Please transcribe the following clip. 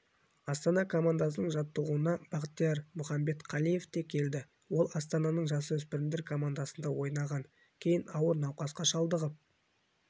астана командасының жаттығуына бақтияр мұхамбетқалиев те келді ол астананың жасөспірімдер командасында ойнаған кейін ауыр науқасқа шалдығып